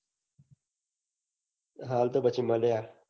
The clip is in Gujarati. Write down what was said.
હાલ તો પછી મળ્યા.